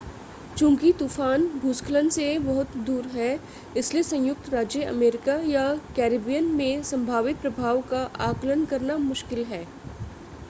चूंकि तूफ़ान भूस्खलन से बहुत दूर है इसलिए संयुक्त राज्य अमेरिका या कैरिबियन में संभावित प्रभाव का आकलन करना मुश्किल है